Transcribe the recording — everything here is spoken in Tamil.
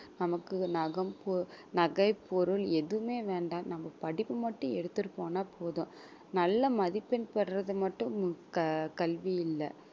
நமக்கு நக~ பொ~ நகை பொருள் எதுவுமே வேண்டாம் நம்ம படிப்பு மட்டும் எடுத்துட்டு போனா போதும் நல்ல மதிப்பெண் பெறுவது மட்டும் க~ கல்வி இல்லை